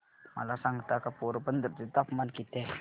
मला सांगता का पोरबंदर चे तापमान किती आहे